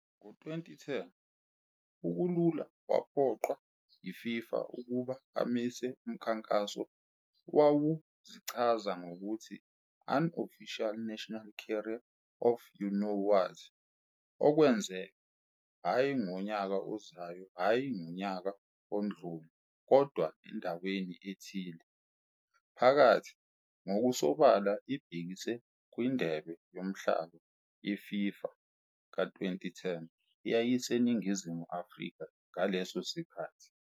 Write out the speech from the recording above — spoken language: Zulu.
Ngo-2010, uKulula waphoqwa yiFIFA ukuba amise umkhankaso owawuzichaza ngokuthi "Unofficial National Carrier of the You-Know-What", okwenzeka "Hhayi ngonyaka ozayo, hhayi ngonyaka odlule, kodwa endaweni ethile. phakathi", ngokusobala ibhekise kwiNdebe Yomhlaba yeFIFA ka-2010 eyayiseNingizimu Afrika ngaleso sikhathi.